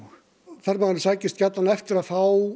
ferðamaðurinn sækist gjarnan eftir að fá